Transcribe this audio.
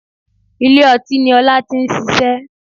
Ilé ọtí ni Ọlá ti n ṣiṣẹ́